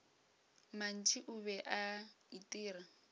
mantši o be a itira